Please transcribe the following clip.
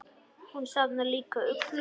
Hún safnar líka uglum.